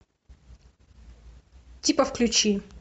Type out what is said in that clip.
типа включи